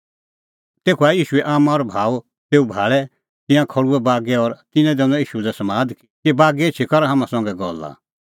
तेखअ आऐ ईशूए आम्मां और भाऊ तेऊ भाल़ै तिंयां खल़्हुऐ बागै और तिन्नैं दैनअ ईशू लै समाद कि बागै एछी कर हाम्हां संघै गल्ला